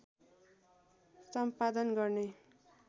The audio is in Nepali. सम्पादन गर्ने